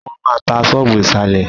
Wọ́n maá tá ṣọ́ọ́bù ìsàlẹ̀.